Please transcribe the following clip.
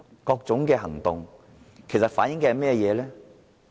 各種行動其實反映甚麼？